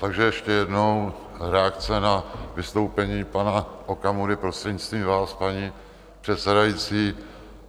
Takže ještě jednou, reakce na vystoupení pana Okamury, prostřednictvím vás, paní předsedající.